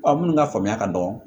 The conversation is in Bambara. minnu ka faamuya ka dɔgɔ